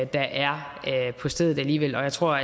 der er på stedet jeg tror